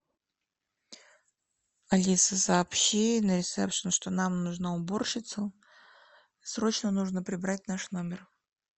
алиса сообщи на ресепшен что нам нужна уборщица срочно нужно прибрать наш номер